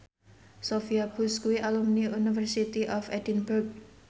Sophia Bush kuwi alumni University of Edinburgh